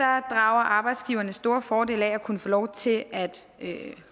arbejdsgiverne store fordele af at kunne få lov til at